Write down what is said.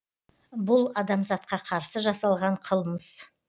бұл адамзатқа қарсы жасалған қылмыс